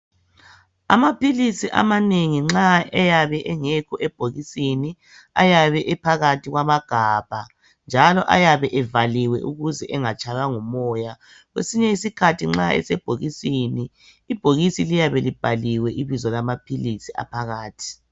Amaphilisi amanengi nxa eyabe engekho ebhokisini ayabe ephakathi kwamagabha njalo ayabe evaliwe ukuze engatshaywa ngumoya. Kwesinye isikhathi nxa esebhokisini ibhokisi liyabe libhaliwe ibizo lamaphilisi aphakathi.